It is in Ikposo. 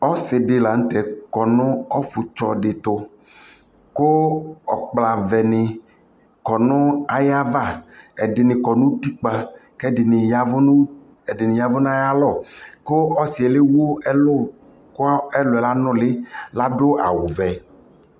ɔsii di lantɛ kɔnʋ ɔƒʋ tsɔ di tʋ kʋ ɔkpla vɛ ni kɔnʋ ayiava, ɛdini kɔnʋ ʋti kpa kɛ ɛdini yavʋ nʋ ayialɔ kʋ ɔsiiɛ lɛwʋ ɛlʋ kʋ ɛlʋɛ yanʋli ladʋ awʋ vɛ